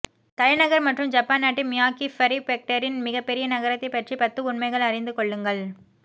தலைநகர் மற்றும் ஜப்பான் நாட்டின் மியாக்கி ப்ரிஃபெக்டரின் மிகப்பெரிய நகரத்தைப் பற்றி பத்து உண்மைகள் அறிந்து கொள்ளுங்கள்